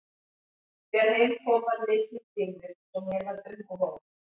Þegar heim kom var mikið um dýrðir svo mér varð um og ó.